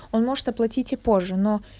он может оплатить и позже но